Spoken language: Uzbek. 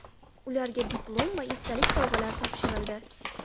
Ularga diplom va esdalik sovg‘alari topshirildi.